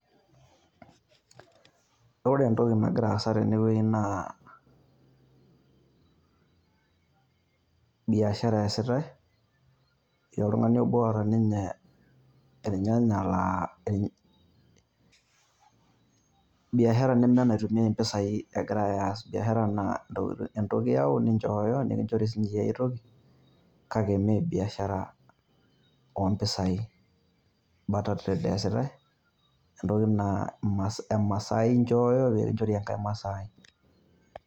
Ore entoki nagira aasa tene wueji naa biashara easitai. Etii oltung`ani obo oota ilnyanya laa ilnyanya. Biashara neme enaitumiyai mpisai egirai aas. biashara naa entoki iyau ninchooyo, nikinchori sii iyie enkae toki. Kake mme biashara oo mpisai barter trade eesitai entoki naa emasai inchooyo pee kinchori enkae masai.